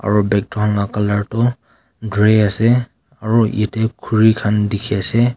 aru background laga tu gray ase aru yate khuri khan ase.